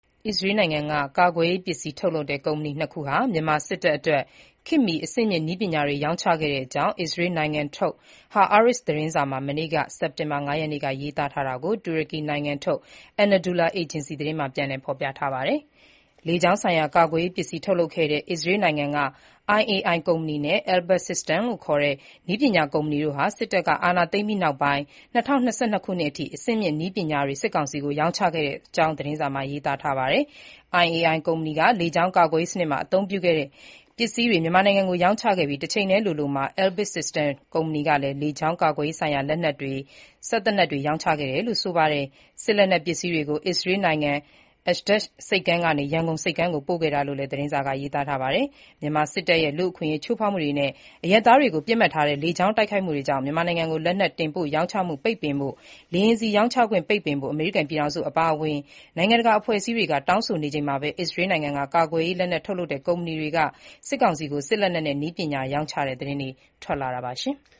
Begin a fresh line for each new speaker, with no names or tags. အစ္စရေးနိုင်ငံက ကာကွယ်ရေး ပစ္စည်းထုတ် ကုမ္ပဏီနှစ်ခုဟာ မြန်မာစစ်တပ်အတွက် ခေတ်မှီ အဆင့်မြင့် နည်းပညာတွေ ရောင်းချခဲ့တဲ့အကြောင်း အစ္စရေးနိုင်ငံထုတ် Haaretz သတင်းစာမှာ မနေ့က ရေးသားထားတာကို တူရကီနိုင်ငံထုတ် Anadolu Ajansı သတင်းက ပြန်လည်ဖေါ်ပြပါတယ်။ လေကြောင်းဆိုင်ရာ ကာကွယ်ရေး ပစ္စည်းထုတ်လုပ်တဲ့ အစ္စရေးနိုင်ငံ IAI ကုမ္ပဏီ နဲ့ Elbit Systems ခေါ် နည်းပညာကုမ္ပဏီတို့ဟာ စစ်တပ်က အာဏာသိမ်းပြီးနောက်ပိုင်း ၂၀၂၂ ခုနှစ်အထိ အဆင့်မြင့်နည်းပညာတွေ စစ်ကောင်စီကို ရောင်းချခဲ့တဲ့အကြောင်း သတင်းစာမှာ ရေးပါတယ်။ IAI က လေကြောင်း ကာကွယ်ရေး စနစ်အတွက် ပစ္စည်းတွေ မြန်မာနိုင်ငံကို ရောင်းချခဲ့ပြီး တချိန်တည်းလိုလိုမှာ Elbit System ကုမ္ပဏီကလည်း လေကြောင်း ကာကွယ်ရေးဆိုင်ရာ လက်နက်တွေ၊ စက်သေနတ်တွေ ရောင်းချခဲ့တယ်လို့ အစီရင်ခံစာက ရေးပါတယ်။ စစ်လက်နက်ပစ္စည်းတွေကို Istael နိုင်ငံ Ashdod ဆိပ်ကမ်းကနေ ရန်ကုန် ဆိပ်ကမ်းကို ပို့ခဲ့တာလို့လည်း သတင်းစာက ရေးပါတယ်။ မြန်မာစစ်တပ်ရဲ့ လူ့အခွင့်အရေးချိုးဖေါက်မှုတွေ အရပ်သားတွေကို ပစ်မှတ်ထားတဲ့ လေကြောင်း တိုက်ခိုက်မှုတွေကြောင့် မြန်မာနိုင်ငံကို လက်နက်ရောင်းချမှု ပိတ်ပင်ဖို့၊ လေယာဉ်ဆီ ပိတ်ပင်ဖို့ အမေရိကန်ပြည်ထောင်စုအပါအဝင် နိုင်ငံတကာ အဖွဲ့အစည်းတွေ တောင်းဆိုနေကြချိန်မှာပဲ အစ္စရေးနိုင်ငံက ကာကွယ်ရေး လက်နက်ထုတ် ကမ္ပဏီတွေရဲ့ စစ်ကောင်စီကို စစ်လက်နက်နဲ့ နည်းပညာရောင်းချတဲ့ သတင်းတွေ ထွက်လာတာပါ။